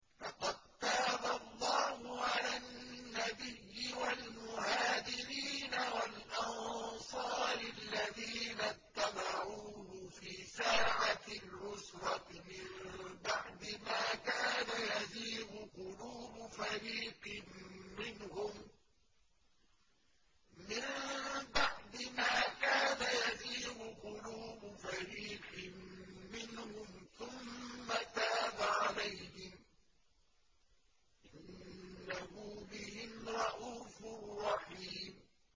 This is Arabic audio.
لَّقَد تَّابَ اللَّهُ عَلَى النَّبِيِّ وَالْمُهَاجِرِينَ وَالْأَنصَارِ الَّذِينَ اتَّبَعُوهُ فِي سَاعَةِ الْعُسْرَةِ مِن بَعْدِ مَا كَادَ يَزِيغُ قُلُوبُ فَرِيقٍ مِّنْهُمْ ثُمَّ تَابَ عَلَيْهِمْ ۚ إِنَّهُ بِهِمْ رَءُوفٌ رَّحِيمٌ